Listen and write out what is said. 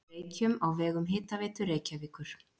Reykjum á vegum Hitaveitu Reykjavíkur.